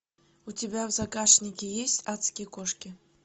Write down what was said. у тебя в загашнике есть адские кошки